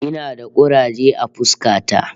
Ina da kuraje a fuska ta